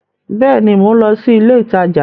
Bẹẹni, Mo n lọ si ilé ìtajà